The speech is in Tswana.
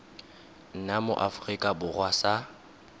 nna mo aforika borwa sa